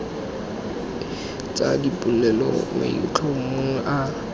tsa dipolelo mo maitlhomong a